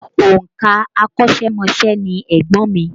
Òǹkàwé akọ́ṣẹ́mọṣẹ́ ni ẹ̀gbọ́n mi